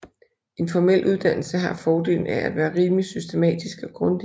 En formel uddannelse har fordelen af at være rimeligt systematisk og grundig